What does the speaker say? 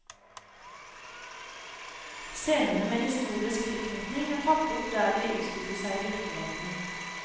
Scenene med historisk tilknytning er tatt opp der de utspilte seg i virkeligheten.